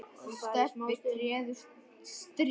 og Stebbi treður strý.